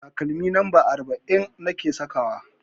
Takalmi lamba arba'in nake sakawa.